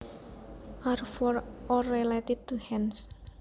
are for or related to hands